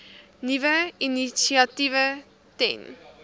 nuwe initiatiewe ten